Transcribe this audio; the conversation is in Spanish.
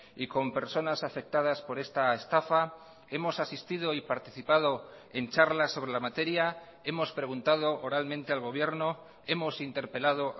y con personas afectadas por esta estafa hemos asistido y participado en charlas sobre la materia hemos preguntado oralmente al gobierno hemos interpelado